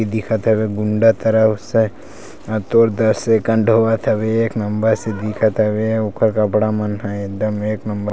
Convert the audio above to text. दिखत हवे गुंडा तरफ से अउ तोर दर सेकंड होवत हवे एक नंबर से दिखत हवे अउ ओखर कपड़ा मन ह एकदम एक नंबर --